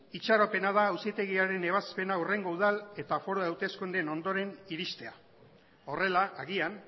itxaropena da auzitegiaren ebazpena hurrengo udal eta foru hauteskundeen ondoren iristea horrela agian